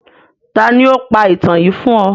Tani o pa itan yii fun ọ?